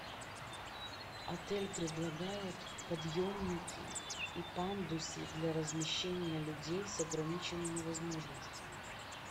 отель предлагает подъемники и пандусы для размещения людей с ограниченными возможностями